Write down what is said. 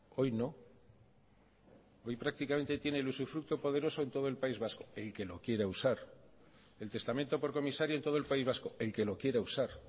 hoy no hoy prácticamente tiene el usufructo poderoso en todo el país vasco el que lo quiera usar el testamento por comisario en todo el país vasco el que lo quiera usar